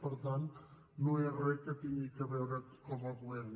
per tant no és re que tingui a veure com a govern